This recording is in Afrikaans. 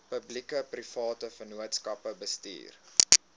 publiekeprivate vennootskappe bestuur